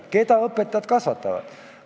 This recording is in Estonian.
Keda õpetajad kasvatavad?